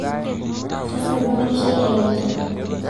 tasioki mikishaki ake enjan